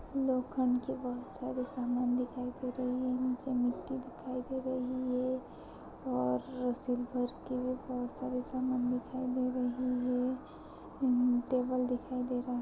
लोखंड के बहुत सारे सामान दिखाई दे रहे हैं नीचे मिट्टी दिखाई दे रही है और रसल भर के भी बहुत सारे सामान दिखाई दे रहे हैं टेबल दिखाई दे रहा है।